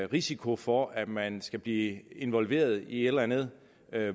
risiko for at man skal blive involveret i et eller andet